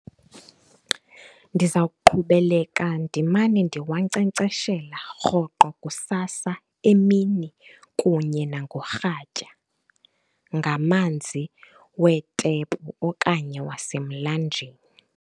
Ndiza kuqhubeleka ndimane ndiwankcenkceshela rhoqo kusasa, emini kunye nangorhatya ngamanzi weetephu okanye wasemlanjeni.